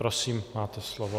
Prosím, máte slovo.